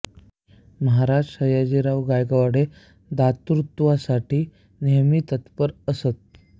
महाराज सयाजीराव गायकवाड हे दातृत्वासाठी नेहमी तत्पर असत